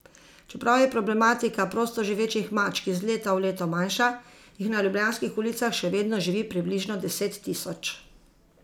Čeprav je problematika prostoživečih mačk iz leta v leto manjša, jih na ljubljanskih ulicah še vedno živi približno deset tisoč.